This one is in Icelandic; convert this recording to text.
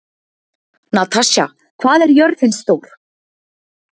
Natasja, hvað er jörðin stór?